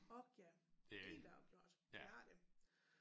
Ork ja helt afgjort det har det